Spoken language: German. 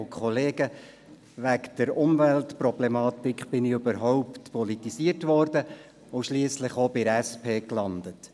Durch die Umweltproblematik wurde ich überhaupt politisiert und landete schliesslich bei der SP.